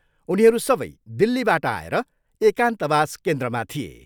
उनीहरू सबै दिल्लीबाट आएर एकान्तवास केन्द्रमा थिए।